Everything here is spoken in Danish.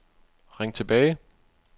ring tilbage